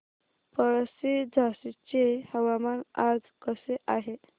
पळशी झाशीचे हवामान आज कसे आहे